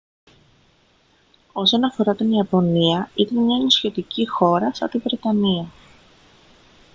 όσον αφορά την ιαπωνία ήταν μια νησιωτική χώρα σαν τη βρετανία